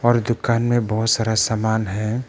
और दुकान में बहोत सारा सामान है।